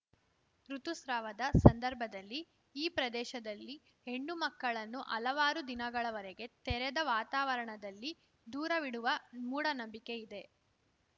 ಋುತುಸ್ರಾವದ ಸಂದರ್ಭದಲ್ಲಿ ಈ ಪ್ರದೇಶದಲ್ಲಿ ಹೆಣ್ಣುಮಕ್ಕಳನ್ನು ಹಲವಾರು ದಿನಗಳವರೆಗೆ ತೆರೆದ ವಾತಾವರಣದಲ್ಲಿ ದೂರವಿಡುವ ಮೂಢನಂಬಿಕೆ ಇದೆ